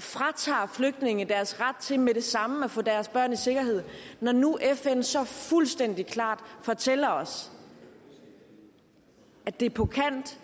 fratager flygtninge deres ret til med det samme at få deres børn i sikkerhed når nu fn så fuldstændig klart fortæller os at det er på kant